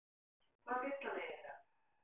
Hvað vill hann eiginlega?